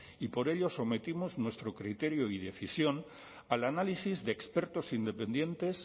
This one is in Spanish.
y por ello sometimos nuestro criterio y decisión al análisis de expertos independientes